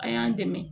A y'an dɛmɛ